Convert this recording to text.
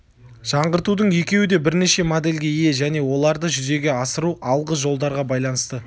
жаңғыртудың екеуі де бірнеше модельге ие және оларды жүзеге асыру алғы жолдарға байланысты